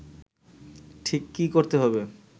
ঠিক কী করতে হবে